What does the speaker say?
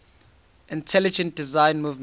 intelligent design movement